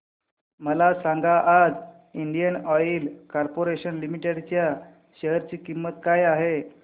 मला सांगा आज इंडियन ऑइल कॉर्पोरेशन लिमिटेड च्या शेअर ची किंमत काय आहे